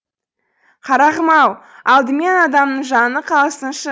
қарағым ау алдымен адамның жаны қалсыншы